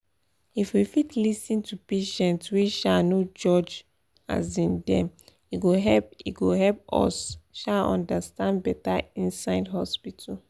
if we fit lis ten to patients wey um no judge um dem e go help e go help us um understand beta inside hospital.